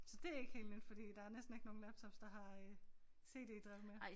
Så det ikke helt nyt fordi der er næsten ikke nogen laptops der har øh cd-drev mere